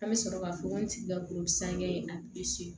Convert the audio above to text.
An bɛ sɔrɔ ka fɔ ko n sigi ka gulon san kɛ a